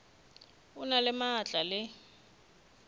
o na le maatla le